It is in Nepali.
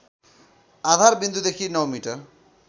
आधारविन्दुदेखि ९ मिटर